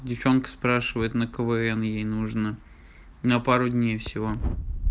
девчонка спрашивает на квн ей нужно на пару дней всего